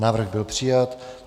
Návrh byl přijat.